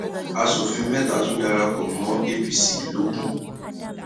aṣòfin mẹta tún darapọ mọ apc logun